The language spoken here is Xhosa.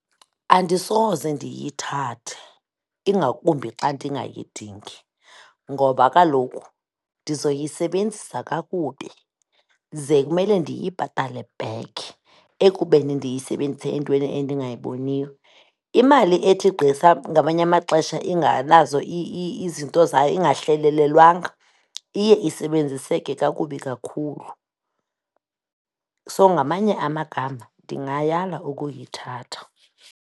Andisoze ndiyithathe, ingakumbi xa ndingayidingi ngoba kaloku ndizoyisebenzisa kakubi, ze kumele ndiyibhatale back ekubeni ndiyisebenzise entweni endingayiboniyo. Imali ethi gqi ngamanye amaxesha ingenazo izinto zayo, ingahlelelelwanga iye isebenziseke kakubi kakhulu. So, ngamanye amagama ndingayala ukuyithatha.